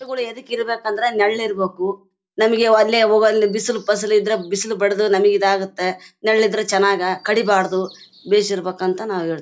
ಮರಗಳು ಯಾಕೆ (ಎದಕ್ಕೆ ಇರ್ಬೇಕು ಅಂದ್ರೆ ನೆರಳು ಇರ್ಬೆಕು. ನಮಿಗೆ ಅಲ್ಲಿ ಅವಾಗ ಅಲ್ಲಿ ಬಿಸಿಲು ಪಸಲು ಇದ್ರೆ ಬಿಸಿಲು ಬಡದು ನಮಿಗೆ ಇದಾಗತ್ತೆ. ನರಳಿದ್ರೆ ಚನಾಗ್. ಕಡಿಬಾರ್ದು ಬೆಳೆಸಿರ್ ಬೇಕಂತ ನಾವ್ ಹೇಳ್ತೀವಿ.